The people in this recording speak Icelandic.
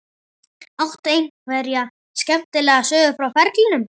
Áttu einhverja skemmtilega sögu frá ferlinum?